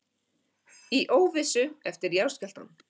Í óvissu eftir jarðskjálftann